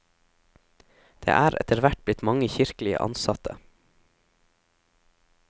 Det er etterhvert blitt mange kirkelige ansatte.